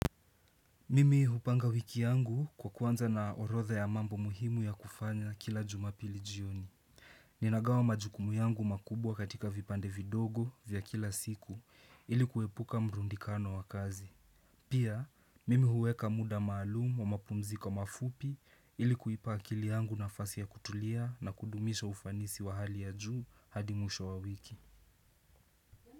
Mimi hupanga wiki yangu kwa kuwanza na orodha ya mambo muhimu ya kufanya kila jumapili jioni. Ninagawa majukumu yangu makubwa katika vipande vidogo vya kila siku ilikuepuka mrundikano wa kazi. Pia, mimi huweka muda maalumu wa mapumzi mafupi ilikuipa akili yangu nafasi ya kutulia na kudumisha ufanisi wa hali ya juu hadi mwisho wa wiki.